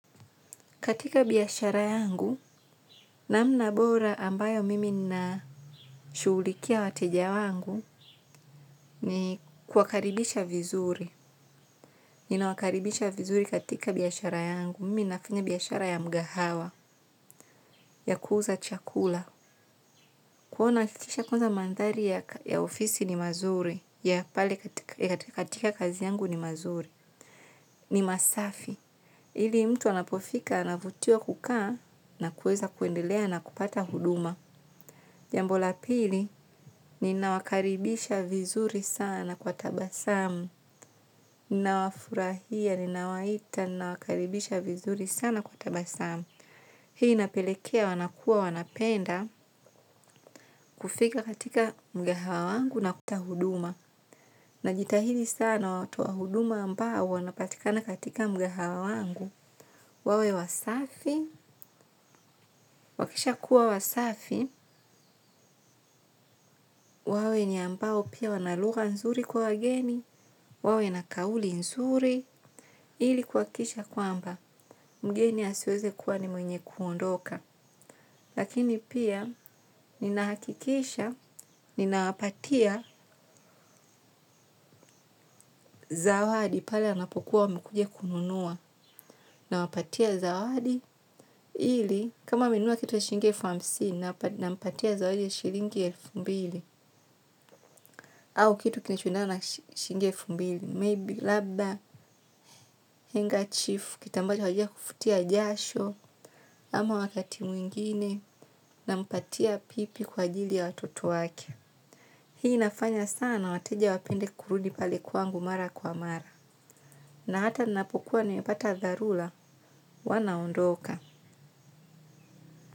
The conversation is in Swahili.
Katika biashara yangu namna bora ambayo mimi ninashughulikia wateja wangu kuwakaribisha vizuri ninawakaribisha vizuri katika biashara yangu. Mimi nafinya biashara ya mgahawa, ya kuuza chakula. Kuona chitisha kwanza mandhari ya ofisi ni mazuri, ya pale katika kazi yangu ni mazuri, ni masafi. Ili mtu anapofika anavutiwa kukaa na kuweza kuendelea na kupata huduma. Jambo la pili ninawakaribisha vizuri sana kwa tabasamu. Ni nawafurahia ni nawaita ni nawakaribisha vizuri sana kwa tabasamu. Hii napelekea wanakua wanapenda kufika katika mgahawa wangu na kuta huduma. Na jitahidi sana watu wa huduma ambao wanapatikana katika mgahawa wangu. Wawe wasafi, wakisha kuwa wasafi, wawe ni ambao pia wana lugha nzuri kwa wageni. Wawe na kauli nzuri ili kuhakisha kwamba mgeni asiweze kuwa ni mwenye kuondoka. Lakini pia nina hakikisha ninawapatia zawadi pale anapokuwa wamekuja kununua na wapatia zawadi ili kama amenunua kitu ya shilingi elfu hamsini nampatia zawadi ya shilingi ya elfu mbili. Au kitu kilichoendana na shingi elfu mbili Maybe labba, henga chifu, kitambaa wajia kufutia jasho, ama wakati mwingine, na mpatia pipi kwa ajili ya watoto wake. Hii inafanya sana na wateja wapende kurudi pale kwangu mara kwa mara. Na hata napokuwa niwepata dharura, wanaondoka.